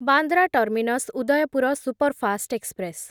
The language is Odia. Bandra terminus Udaipur superfast express